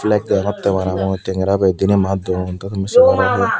bek degongotte parang mui tengera ber diney mat duon te tumi de paro hi.